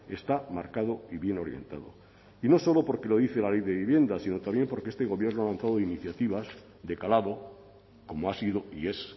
está marcado y bien orientado y no solo porque lo dice la ley de vivienda sino también porque este gobierno ha lanzado iniciativas de calado como ha sido y es